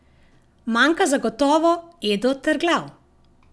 Manjka zagotovo Edo Terglav.